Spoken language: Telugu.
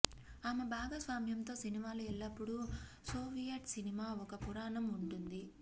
ఆమె భాగస్వామ్యంతో సినిమాలు ఎల్లప్పుడూ సోవియట్ సినిమా ఒక పురాణం ఉంటుంది